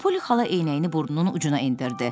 Poli xala eynəyini burnunun ucuna endirdi.